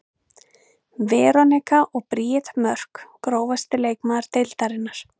Veronika og Bríet Mörk Grófasti leikmaður deildarinnar?